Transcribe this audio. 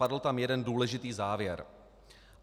Padl tam jeden důležitý závěr.